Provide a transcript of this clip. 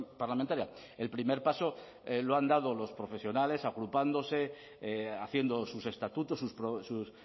parlamentaria el primer paso lo han dado los profesionales agrupándose haciendo sus estatutos sus